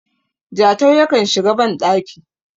Jatau yakan shiga bandaki